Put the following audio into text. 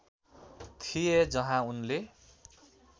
थिए जहाँ उनले